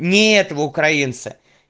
нет в украинцы